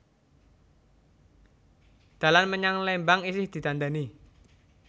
Dalan menyang Lembang isih didandani